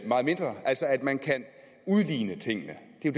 meget mindre altså at man kan udligne tingene det